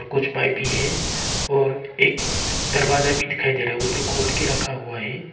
कुछ पाइप भी है और एक दरवाजा भी दिखाई दे रहा है वो जो खोल के रखा हुआ है।